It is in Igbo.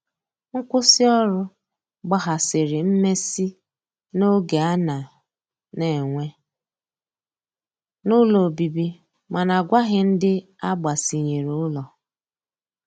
Nkwụsi ọrụ gbahasiri mmesi n'oge ana n'enwe n'ụlọ ọbibi mana agwaghi ndi agbasinyere ụlọ.